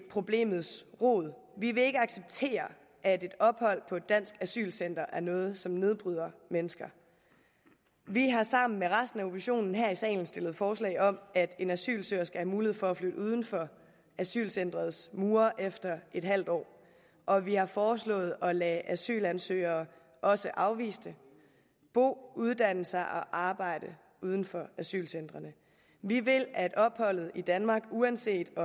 problemets rod vi vil ikke acceptere at et ophold på et dansk asylcenter er noget som nedbryder mennesker vi har sammen med resten af oppositionen her i salen stillet forslag om at en asylsøger skal have mulighed for at flytte uden for asylcenterets mure efter et halvt år og vi har foreslået at lade asylansøgere også afviste bo uddanne sig og arbejde uden for asylcentrene vi vil at opholdet i danmark uanset at